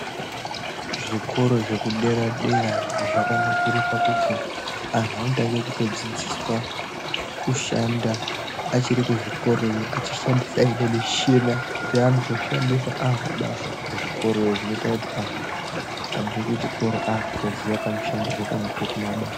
Zvikoro zvekudera-dera zvakanakire pakuti antu anotange kutodzidziswa kushanda achiri kuzvikorayo achishandisa nemishina yeanozoshandisa akubasa. Kuzvikorayo zvinoite kuti abve kuchikoro akutoziye kamushandiro kanoitwe kumabasa.